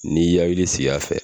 N'i yari siya fɛ